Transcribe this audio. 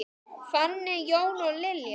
Fanney, Jón og Lilja.